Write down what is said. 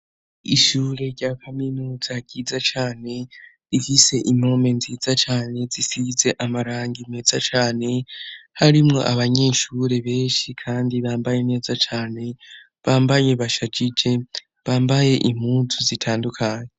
Ishure rya Kaminuza riza cane rihise impome nzidza cane zisize amarangi medza chane harimwo abanyeshure beshi kandi bambaye neza cane bambaye bashacice bambaye impuzu zitandukanye.